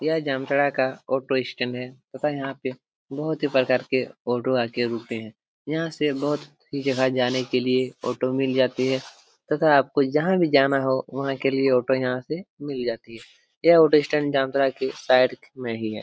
ये जामताड़ा का ऑटोस्टैंड है तथा यहां से बहुत ही अच्छे तरीके से ऑटो आकर रुकते हैं यहां से बहुत ही जगह जाने के लिए ऑटो मिल जाती है तथा आपको जहां भी जाना हो वहां वहां के लिए ऑटो यहां से मिल जाती है ये ऑटोस्टैंड जामताड़ा के साइड में ही है।